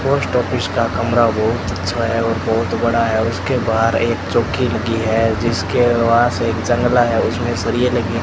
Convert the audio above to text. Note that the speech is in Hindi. पोस्ट ऑफिस का कमरा बहुत अच्छा है और बहुत बड़ा है उसके बाद एक चौकी लगी है जिसके पास एक जंगला है उसमें सरिए लगे है।